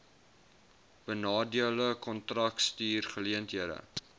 benadeelde kontrakteurs geleenthede